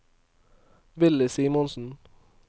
Willy Simonsen